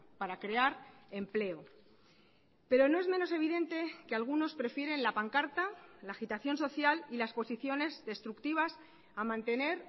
para crear empleo pero no es menos evidente que algunos prefieren la pancarta la agitación social y las posiciones destructivas a mantener